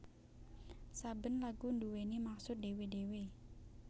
Saben lagu nduwèni maksud dhewe dhewe